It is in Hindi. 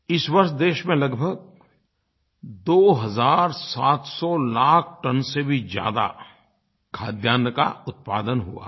इस वर्ष देश में लगभग दो हज़ार सात सौ लाख टन से भी ज्यादा खाद्यान्न का उत्पादन हुआ है